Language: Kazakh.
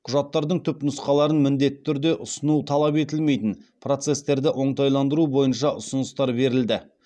құжаттардың түпнұсқаларын міндетті түрде ұсыну талап етілмейтін процестерді оңтайландыру бойынша ұсыныстар берілді